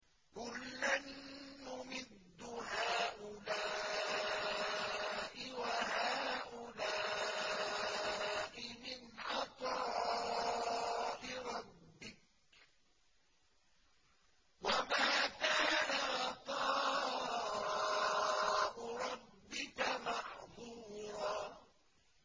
كُلًّا نُّمِدُّ هَٰؤُلَاءِ وَهَٰؤُلَاءِ مِنْ عَطَاءِ رَبِّكَ ۚ وَمَا كَانَ عَطَاءُ رَبِّكَ مَحْظُورًا